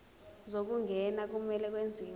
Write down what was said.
zokungena kumele kwenziwe